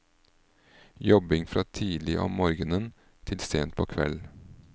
Jobbing fra tidlig om morgenen til sent på kveld.